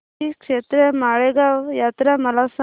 श्रीक्षेत्र माळेगाव यात्रा मला सांग